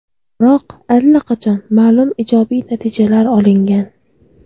Biroq allaqachon ma’lum ijobiy natijalar olingan.